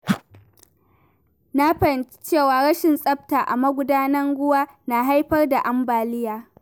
Na fahimci cewa rashin tsafta a magudanan ruwa na haifar da ambaliya.